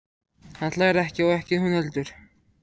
Hann hlær ekki og ekki hún heldur.